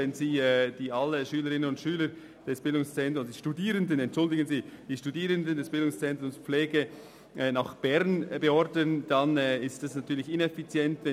Wenn Sie alle Studierenden des BZ Pflege nach Bern beordern, ist das ineffizient.